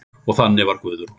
Og þannig var Guðrún.